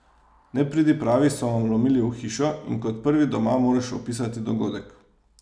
Nepridipravi so vam vlomili v hišo in kot prvi doma moraš opisati dogodek.